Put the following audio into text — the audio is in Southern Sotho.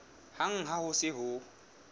hang ha ho se ho